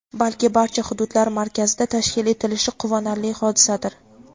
balki barcha hududlar markazida tashkil etilishi quvonarli hodisadir.